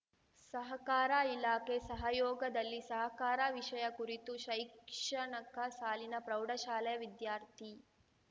ಸಹಕಾರ ಇಲಾಖೆ ಸಹಯೋಗದಲ್ಲಿ ಸಹಕಾರ ವಿಷಯ ಕುರಿತು ಶೈಕ್ಷಣಕ ಸಾಲಿನ ಪ್ರೌಢಶಾಲೆ ವಿದ್ಯಾರ್ಥಿ